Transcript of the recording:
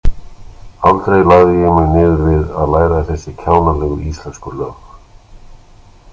Aldrei lagði ég mig niður við að læra þessi kjánalegu íslensku lög.